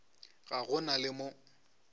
ga go na le mo